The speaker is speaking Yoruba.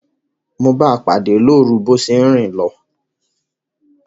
Mo báa pàdé lórun bo se n rin lo